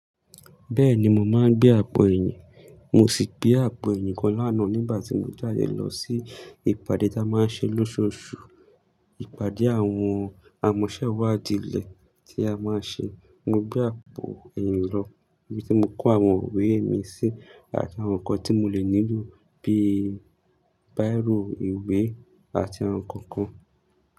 Bẹ́ẹ̀ni mo máa ń gbé àpò ẹ̀yìn, mo sì gbé àpò ẹ̀yìn kan lánàá nígbà tí mo jáde lọ sí ìpàdé tí a máa ṣe lóṣù Òṣù, ìpàdé àwọn amọ̀sẹ́wádìí ilé tí a máa ṣe. Mo gbé àpò ẹ̀yìn lọ, ibi tí mo kó àwọn ìwé mi sí àti àwọn nǹkan tí mo lè nílò bíi báìrò ìwé àti àwọn nǹkan kan.